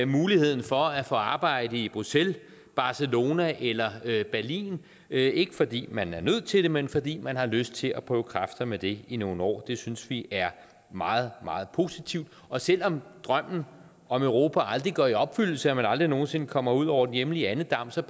muligheden for at få arbejde i bruxelles barcelona eller berlin ikke fordi man er nødt til det men fordi man har lyst til at prøve kræfter med det i nogle år det synes vi er meget meget positivt og selv om drømmen om europa aldrig går i opfyldelse og man aldrig nogen sinde kommer ud over den hjemlige andedam så